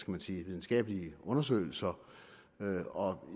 man sige videnskabelige undersøgelser